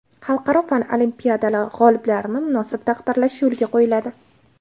Xalqaro fan olimpiadalari g‘oliblarini munosib taqdirlash yo‘lga qo‘yiladi.